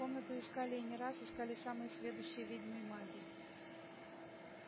комнату искали и не раз искали самые сведущие ведьмы и маги